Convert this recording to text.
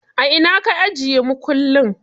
A ina ka ajiye makullin?